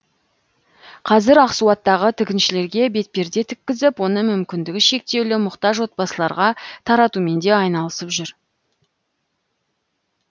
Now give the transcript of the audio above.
қазір ақсуаттағы тігіншілерге бетперде тіккізіп оны мүмкіндігі шектеулі мұқтаж отбасыларға таратумен де айналысып жүр